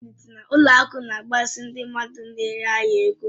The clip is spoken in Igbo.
Ụlọ akụ na-agbazinye ndị mmadụ n'ere ahịa ego.